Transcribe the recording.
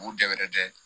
U dɛɛrɛ tɛ